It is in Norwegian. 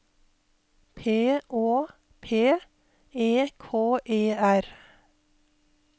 P Å P E K E R